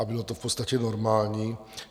A bylo to v podstatě normální.